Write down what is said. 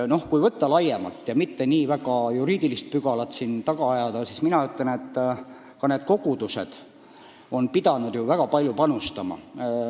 Kui võtta laiemalt ja juriidilisi pügalaid mitte väga taga ajada, siis tuleb tunnistada, et ka kogudused on pidanud väga palju panustama.